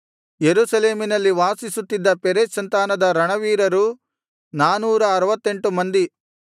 ಯೆರೂಸಲೇಮಿನಲ್ಲಿ ವಾಸಿಸುತ್ತಿದ್ದ ಪೆರೆಚ್ ಸಂತಾನದ ರಣವೀರರು ನಾನೂರ ಆರುವತ್ತೆಂಟು ಮಂದಿ